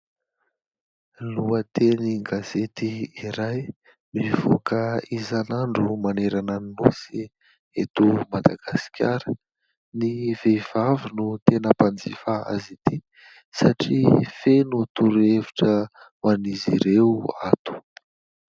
Lohateny gazety iray mivoaka isan'andro manerana ny nosy eto Madagasikara. Ny vehivavy no tena mpanjifa azy ity satria feno toro-hevitra ho an'izy ireo ato.